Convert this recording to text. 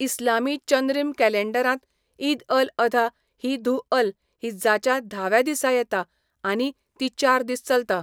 इस्लामी चंद्रीम कॅलॅण्डरांत, ईद अल अधा ही धु अल हिज्जाच्या धाव्या दिसा येता आनी ती चार दीस चलता.